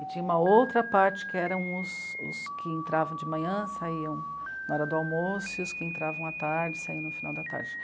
E tinha uma outra parte que eram os, os que entravam de manhã, saíam na hora do almoço, e os que entravam à tarde, saíam no final da tarde.